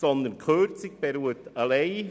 Die Kürzung erfolgt ausschliesslich